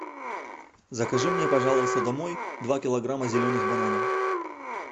закажи мне пожалуйста домой два килограмма зеленых бананов